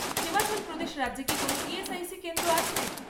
হিমাচল প্রদেশ রাজ্যে কি কোনও ইএসআইসি কেন্দ্র আছে?